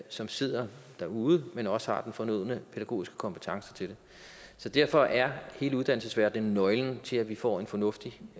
som sidder derude men også har den fornødne pædagogiske kompetence til det så derfor er hele uddannelsesverdenen nøglen til at vi får en fornuftig